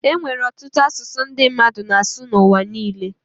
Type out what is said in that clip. e nwere ọtụtụ asụsụ ndị mmadụ na-asụ n’ụwa niile